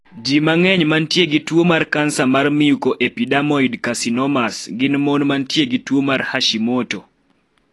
Ji mang'eny mantie gi tuo mar kansa mar mucoepidermoid carcinomas gin mon mantie gi tuo mar Hashimoto.